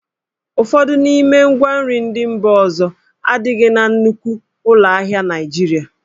Ụfọdụ n'ime ngwa nri ndị mba ọzọ adịghị na nnukwu ụlọ ahịa Naịjirịa.